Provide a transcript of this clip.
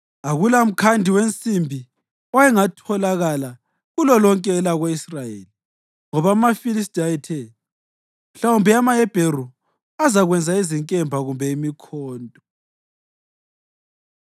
Akulamkhandi wensimbi owayengatholakala kulolonke elako-Israyeli, ngoba amaFilistiya ayethe, “Mhlawumbe amaHebheru azakwenza izinkemba kumbe imikhonto.”